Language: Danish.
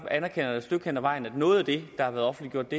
anerkender jeg et stykke hen ad vejen at noget af det der har været offentliggjort